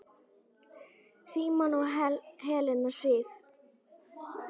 Símon og Helena Sif.